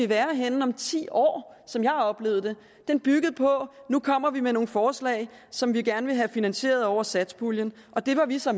være henne om ti år som jeg oplevede det den byggede på at nu kommer vi med nogle forslag som vi gerne vil have finansieret over satspuljen og det var vi så